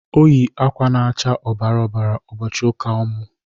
Ọ yị akwa na'acha ọbara ọbara ụbọchị ụka ọmụ.